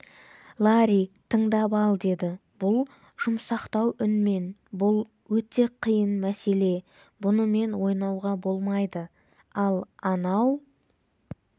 ларри тындап ал деді бұл жұмсақтау үнмен бұл өте қиын мәселе бұнымен ойнауға болмайды ал анау